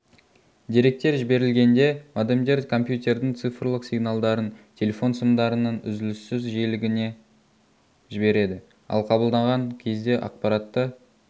деректер жіберілгенде модемдер компьютердің цифрлық сигналдарын телефон сымдарының үзіліссіз жиілігіне жібереді ал қабылдаған кезде ақпаратты